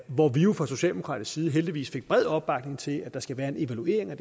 hvor vi jo fra socialdemokratisk side heldigvis fik bred opbakning til at der skal være en evaluering af